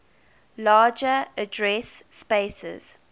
larger address spaces